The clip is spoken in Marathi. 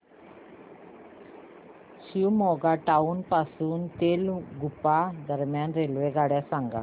शिवमोग्गा टाउन पासून तलगुप्पा दरम्यान रेल्वेगाड्या सांगा